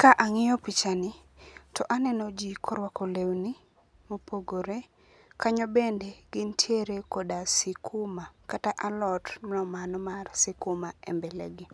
Ka ang'iyo pichani to aneno ji korwako lewni mopogore, kanyo bende gintiere koda sikuma kata alot mar mano mar sikuma e mbele gi.